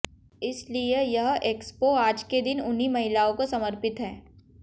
इसलिए यह एक्सपो आज के दिन उन्हीं महिलाओं को समर्पित है